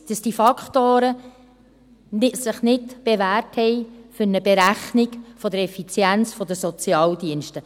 Und ich weiss, dass diese Faktoren sich nicht bewährt haben für eine Berechnung der Effizienz der Sozialdienste.